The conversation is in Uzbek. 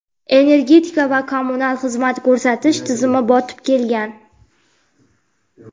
energetika va kommunal xizmat ko‘rsatish tizimi botib ketgan.